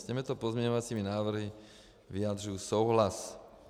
S těmito pozměňovacími návrhy vyjadřuji souhlas.